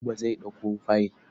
Buba zai ɗauko fayil.